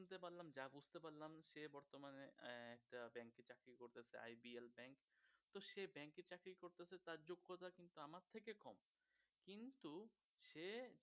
সে